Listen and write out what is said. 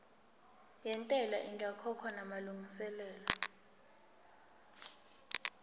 yentela ingakakhokhwa namalungiselo